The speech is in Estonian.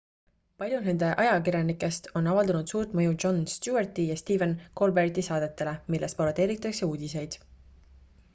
paljud nende ajakirjanikest on avaldanud suurt mõju jon stewarti ja stephen colbert'i saadetele milles parodeeritakse uudiseid